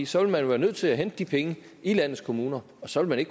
så vil man være nødt til at hente de penge i landets kommuner og så vil